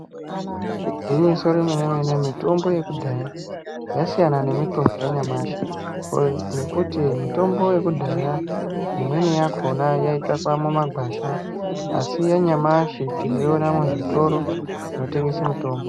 Igwinyiso remene-mene mitombo yekudhaya yakasiyana nemitombo yanyamashi nekuti mitombo yekudhaya imweni yakona yaitsvakwa mumagwasha asi yanyamashi tinoyiona muzvitoro zvinotengesa mitombo.